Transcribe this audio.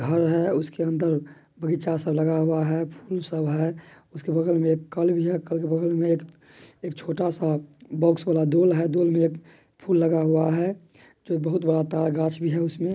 घर है उस के अंदर बागीचा सब लगा हुआ है फूल सब है और उस के बगल मे एक कल भी है कल के बगल एक-एक छोटा सा बॉक्स वाला दोल है दोल में एक फूल लगा हुआ है जो बहुत बड़ा तार गाछ भी है उसमे--